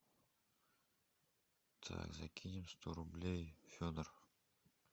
так закинем сто рублей федор